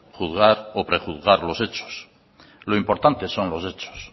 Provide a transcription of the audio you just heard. juzgar o prejuzgar los hechos lo importante son los hechos